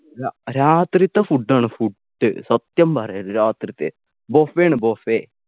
ര രാത്രിത്തെ food ആണ് food സത്യം പറയാ രാത്രിത്തെ buffet ണ് buffet